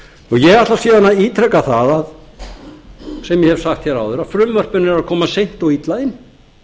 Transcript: síðan að ítreka það sem ég hef sagt áður að frumvörpin eru að koma seint og illa inn